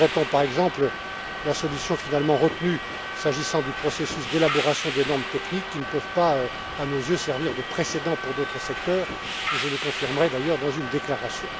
Nous regrettons, par exemple, la solution finalement retenue, s'agissant du processus d'élaboration des normes techniques, qui ne peut pas, à nos yeux, servir de précédent pour d'autres secteurs, et je le confirmerai d'ailleurs dans une déclaration.